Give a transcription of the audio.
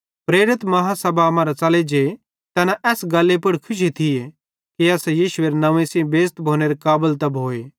प्रेरित बेड्डी आदालती मरां च़ले जे तैना एस गल्ली पुड़ खुशी थिये कि असां यीशुएरे नंव्वे सेइं बेइज़त भोनेरे काबल त भोए